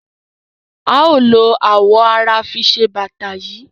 A o lo awọ ara fi se bata yii.